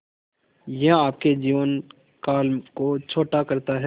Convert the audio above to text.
यह आपके जीवन काल को छोटा करता है